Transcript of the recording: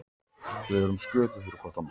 Við erum sköpuð fyrir hvort annað.